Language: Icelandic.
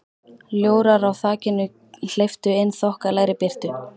Ljórar á þakinu hleyptu inn þokkalegri birtu.